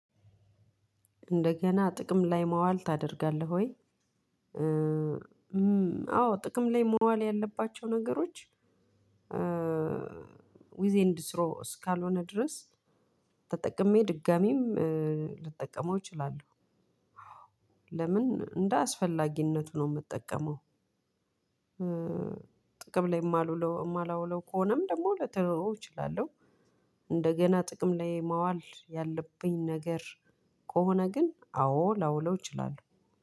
እንደገና ጥቅም ላይ ማዋል ታደርጋለህ ወይ? አዎ ጥቅም ላይ መዋል ያለባቸው ነገሮች ዊዝ ኤንድ ስሮ እስካልሆነ ድረስ ተጠቅሜ ድጋሚም ልጠቀመው እችላለሁ። ለምን እንደ አስፈላጊነቱ ነው የምጠቀመው። ጥቅም ላይ የማላውለው ከሆነም ደግሞ ልተወው እችላለሁ። እንደገና ጥቅም ላይ ማዋል ያለብኝ ነገር ከሆነ ግን አዎ ላውለው እችላለሁ።